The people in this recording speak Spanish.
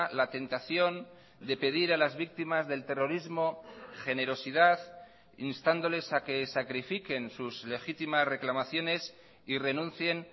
la tentación de pedir a las víctimas del terrorismo generosidad instándoles a que sacrifiquen sus legítimas reclamaciones y renuncien